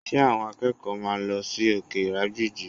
Ṣé àwọn akẹ́kọ̀ọ́ máa lọ sí òkè ìrágbìjí?